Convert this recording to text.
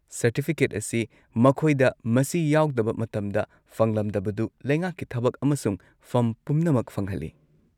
Certificate ꯑꯁꯤ ꯃꯈꯣꯏꯗ ꯃꯁꯤ ꯌꯥꯎꯗꯕ ꯃꯇꯝꯗ ꯐꯪꯂꯝꯗꯕꯗꯨ ꯂꯩꯉꯥꯛꯀꯤ ꯊꯕꯛ ꯑꯃꯁꯨꯡ ꯐꯝ ꯄꯨꯝꯅꯃꯛ ꯐꯪꯍꯜꯂꯤ꯫